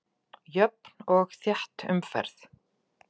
Jöfn og þétt umferð